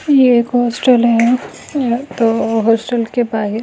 ये एक होस्टल है तो हॉस्टल के बाद --